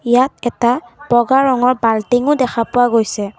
ইয়াত এটা বগা ৰঙৰ বাল্টঙো দেখা পোৱা গৈছে।